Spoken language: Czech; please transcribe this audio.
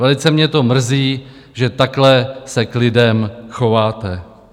Velice mě to mrzí, že takhle se k lidem chováte.